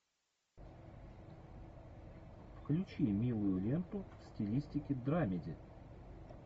включи милую ленту в стилистике драмеди